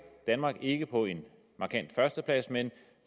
danmark ikke på en markant førsteplads men